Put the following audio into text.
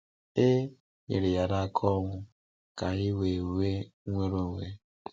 A nyere ya n’aka ọnwụ, ka anyị wee nwee nnwere onwe.